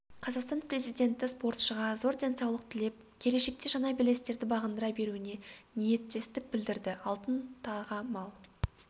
қазақстан президенті спортшыға зор денсаулық тілеп келешекте жаңа белестерді бағындыра беруіне ниеттестік білдірді алтын таға мал